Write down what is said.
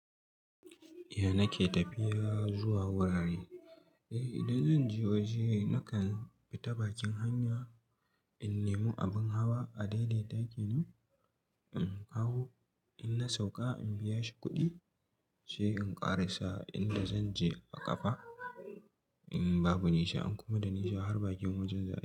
Eh nake tafiya zuwa wurare. Eh idan zan je waje nakan bi ta bakin hanya, in nemi abin hawa a dai dai ta ke nan in haw, in na sauka in biya shi kuɗi sai in ƙarasa inda zan je a ƙafa in babu nisa, in kuma da nisa har bakin wajen za.